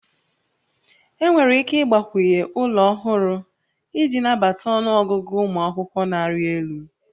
Enwere ike ịgbakwunye ụlọ ọhụrụ iji nabata ọnụ ọgụgụ ụmụ akwụkwọ na-arị elu